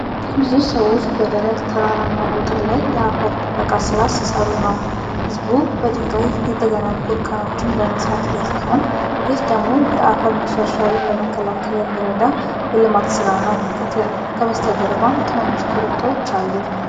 ብዙ ሰዎች በደረቅ ተራራማ ቦታ ላይ የአፈር ጥበቃ ሥራ ሲሰሩ ነው። ሕዝቡ በድንጋይ የተገነቡ እርከኖችን በመስራት ላይ ሲሆን፣ ይህ ደግሞ የአፈር መሸርሸርን ለመከላከል የሚረዳ የልማት ሥራ ነው። ከበስተጀርባም ትናንሽ ኮረብታዎች አሉ።